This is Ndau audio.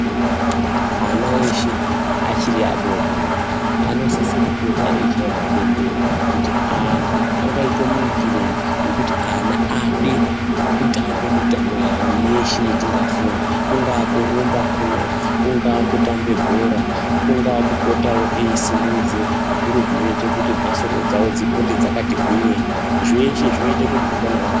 Ana eshe achiri adodori anosise kupota eichairwe bembera kuti anhu angaite muitireyi kuti ana ade kutamba mitambo yawo yeshe yatingafunga kungaa kurumba kuno, kungaa kutambe bhora ,kungaa kupote eisimudze zviro zvinoite kuti mhasuru dzawo dzigwinye ,zveshe zvinoite kuti utano hwavo ....